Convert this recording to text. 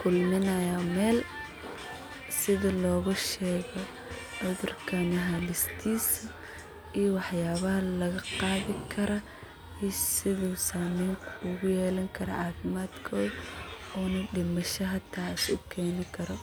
kulminaya meel sitha logu shego cudhurkani halistis iyo waxyala laga qadhi karo iyo sithu samen ogu yelan karo cafimadkodha ona damisha hata usan keni karo.